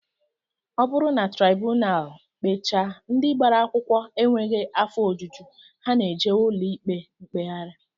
Ọ bụrụ na traibunal kpechaa, ndị gbara akwụkwọ enweghị afọ ojuju, ha na-ejewe ụlọikpe mkpegharị